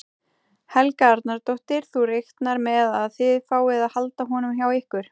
Helga Arnardóttir: Þú reiknar með að þið fáið að halda honum hjá ykkur?